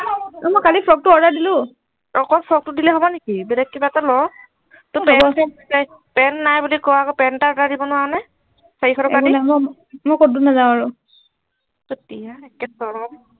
অ মই কালি ফ্ৰকটো order দিলো অকল ফ্ৰকটো দিলেই হব নেকি বেলেগ কিবা এটা ল তই পেন পেন নাই বুলি কৱ আকৌ পেন এটা order দিব নোৱাৰ নে চাৰিশ টকা দি নহয় মই কতো নাযাও আৰু একে চৰে